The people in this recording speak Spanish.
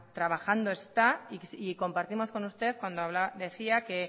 trabajando está y compartimos con usted cuando decía que